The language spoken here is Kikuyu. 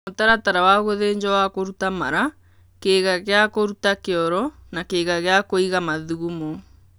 mũtaratara wa gũthĩnjwo wa kũruta mara, kĩĩga gĩa kũruta kĩoro na kĩĩga kĩa kũiga mathugamo.